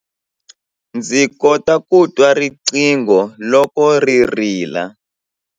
Ndzi kota ku twa riqingho loko ri rila.